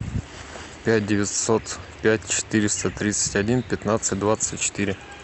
пять девятьсот пять четыреста тридцать один пятнадцать двадцать четыре